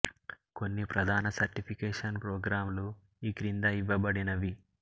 కొన్ని ప్రధాన certification programme లు ఈ క్రింద ఇవ్వబడినవి